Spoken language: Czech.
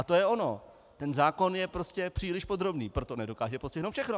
A to je ono, ten zákon je prostě příliš podrobný, proto nedokáže postihnout všechno.